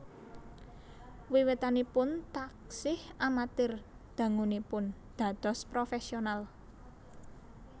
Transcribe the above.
Wiwitanipun taksih amatir dangunipun dados profesional